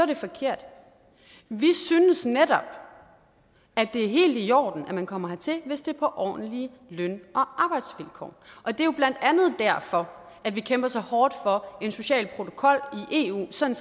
det forkert vi synes netop at det er helt i orden at man kommer hertil hvis det er på ordentlige løn og arbejdsvilkår og det er jo blandt andet derfor at vi kæmper så hårdt for en social protokol i eu sådan